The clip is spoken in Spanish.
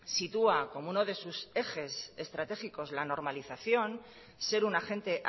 sitúa como uno de sus ejes estratégicos la normalización ser un agente